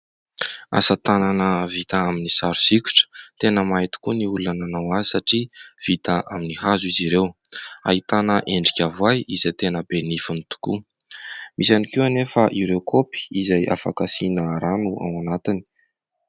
Asa tanana vita amin'ny sary sikotra, tena mahay tokoa ny olona nanao azy satria vita amin'ny hazo izy ireo ;ahitana endrika voay izay tena be nifiny tokoa misy ihany koa anefa ireo kopy izay afaka asiana rano ao anatiny .